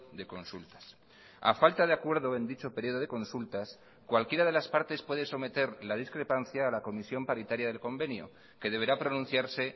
de consultas a falta de acuerdo en dicho periodo de consultas cualquiera de las partes puede someter la discrepancia a la comisión paritaria del convenio que deberá pronunciarse